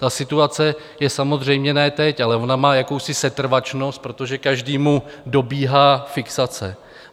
Ta situace je samozřejmě ne teď, ale ona má jakousi setrvačnost, protože každému dobíhá fixace.